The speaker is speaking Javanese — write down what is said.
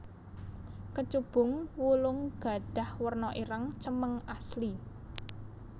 Kecubung wulung gadhah werna ireng cemeng asli